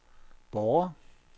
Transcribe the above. Borre